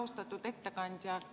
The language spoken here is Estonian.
Austatud ettekandja!